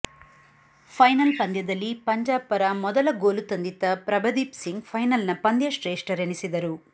final ಪಂದ್ಯದಲ್ಲಿ ಪಂಜಾಬ್ ಪರ ಮೊದಲ ಗೋಲು ತಂದಿತ್ತ ಪ್ರಭದೀಪ್ ಸಿಂಗ್ ಫೈನಲ್ನ ಪಂದ್ಯಶ್ರೇಷ್ಠರೆನಿಸಿದರು